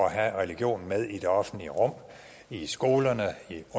at have religionen med i det offentlige rum i skolerne